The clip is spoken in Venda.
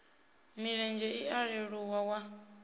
milenzhe i a leluwa wa